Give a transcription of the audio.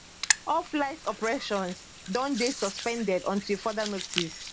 all flight operations don dey suspended until further notice